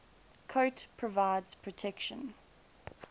coat provides protection